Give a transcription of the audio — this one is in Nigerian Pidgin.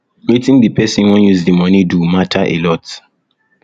wetin di person wan use di money um do matter alot